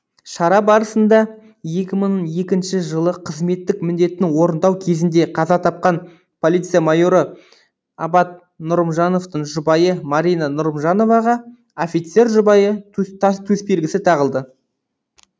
шара барысында екі мың екінші жылы қызметтік міндетін орындау кезінде қаза тапқан полиция майоры абат нұрымжановтың жұбайы марина нұрымжановаға офицердің жұбайы төсбелгісі тағылды